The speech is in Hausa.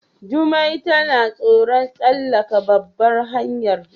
Jumai tana tsoron tsallaka ɓabar hanyar.